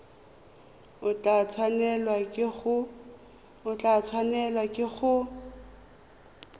o tla tshwanelwa ke go